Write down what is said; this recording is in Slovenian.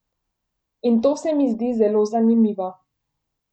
In to se mi zdi zelo zanimivo.